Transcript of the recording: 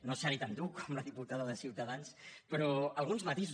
no seré tan dur com la diputada de ciutadans però alguns matisos